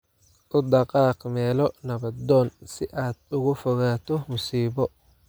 U dhaqaaq meelo nabdoon si aad uga fogaato musiibo